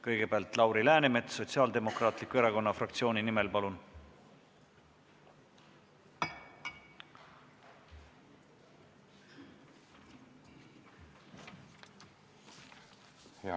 Kõigepealt Lauri Läänemets Sotsiaaldemokraatliku Erakonna fraktsiooni nimel, palun!